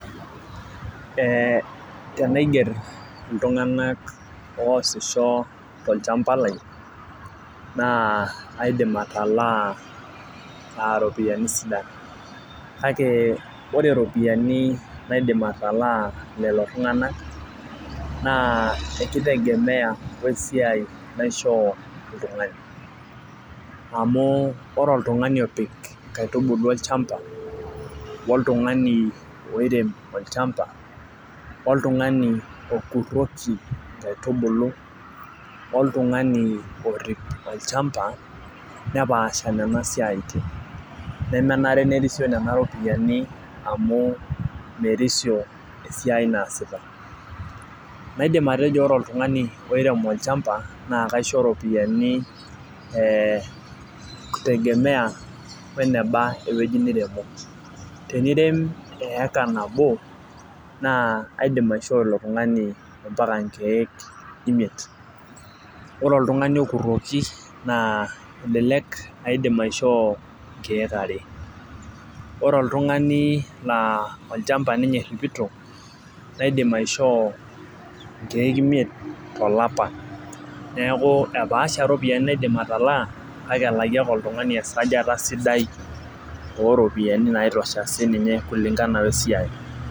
Ee tenaiger iltunganak oosisho tolchampa lai naa aidim atalaa aa ropiyiani sidan, kake ore ropiyiani naidim atalaa lelo tunganak naa kitegemea we siai naishop oltungani. amu ore oltungani opik inkaitubulu olchampa. oltungani oirem olchampa, oltungani okuroki inkaitubulu , oltungani orip olchampa, nepaasha Nena siatin. nemere nerisio nena ropiyiani amu merisio esiai naasita. naidim atejo ore oltungani oirem olchampa naa kaisho iropiyiani itegemea weneba ewueji niremo. tenirem eyeka nabo, naa aidim aishoo Iko tungani mpaka nkeek imiet. ore oltungani okuroki naa elelek aidim aishoo nkeek are, ore oltungani laa olchampa ninye eripito naaidim aishoo inkeek imiet tolapa. neeku epaasha iropiyiani naidim atalaa kake elaki oltungani esajata sidai ooropiyiani naitosha sii ninye kulingana we siai.